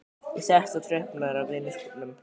Ég settist á tröppurnar á vinnuskúrnum.